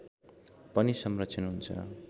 पनि संरक्षण हुन्छ